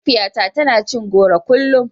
Mahaifiyata tana cin goro kullum.